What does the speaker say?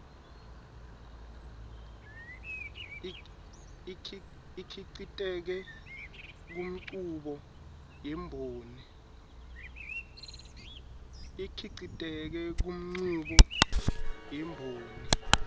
ikhiciteke kunchubo yemboni